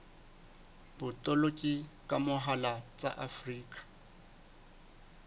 botoloki ka mohala tsa afrika